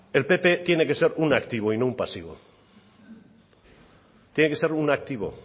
el pp tiene que ser un activo y no un pasivo tiene que ser un activo